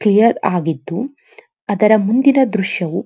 clear ಆಗಿದ್ದು ಅದರ ಮುಂದಿನ ದ್ರಶ್ಯಾವು --